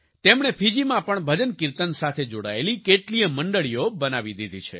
તેમણે ફિજીમાં પણ ભજનકિર્તન સાથે જોડાયેલી કેટલીયે મંડળીઓ બનાવી દીધી છે